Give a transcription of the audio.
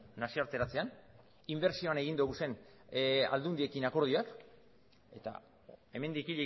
nazioarteratzean inbertsioan egin dugun aldundiekin akordioak eta hemendik